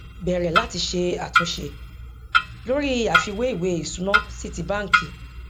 bẹrẹ láti ṣe àtúnṣe lórí àfiwé ìwé ìsúná sí ti bánkì